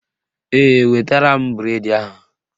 Ee, wetara m bụredi ahụ